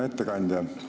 Hea ettekandja!